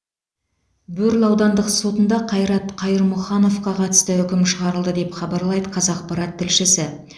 бөрлі аудандық сотында қайрат қайырмұхановқа қатысты үкім шығарылды деп хабарлайды қазақпарат тілшісі